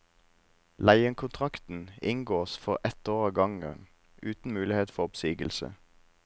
Leiekontrakten inngås for ett år av gangen, uten mulighet for oppsigelse.